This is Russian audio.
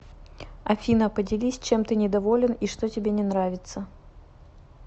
афина поделись чем ты недоволен и что тебе не нравиться